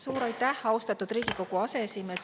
Suur aitäh, austatud Riigikogu aseesimees!